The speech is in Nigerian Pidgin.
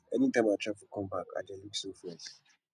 anytime i travel come back i dey look so fresh